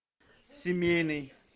семейный